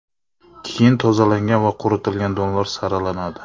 Keyin tozalangan va quritilgan donlar saralanadi.